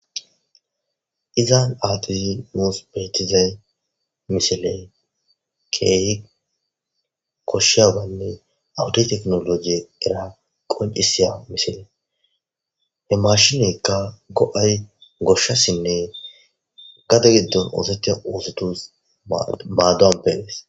Izza achen nus bethiza missile keehi koshiyabane ha wode teknoloje diyya qoncisyya missile. He mashinekka goayi goshasine gade gidon osethiya osothus madon pee's.